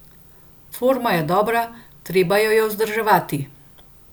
Forma je dobra, treba jo je pa vzdrževati.